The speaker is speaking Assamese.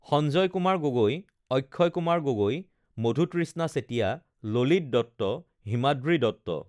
স্ঞ্জয় কুমাৰ গগৈ, অক্ষয় কুমাৰ গগৈ, মধুতৃষ্ণা চেতিয়া, ললিত দত্ত, হিমাদ্ৰী দত্ত